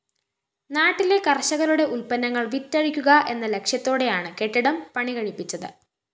നാട്ടിലെ കര്‍ഷകരുടെ ഉല്‍പന്നങ്ങള്‍ വിറ്റഴിക്കുക എന്ന ലക്ഷ്യത്തോടെയാണ് കെട്ടിടം പണികഴിപ്പിച്ചത്